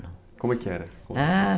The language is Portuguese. Como é que era? ah...